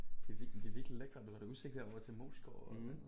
Det virkelig de er virkelig lækre du har udsigt herovre til Moesgaard og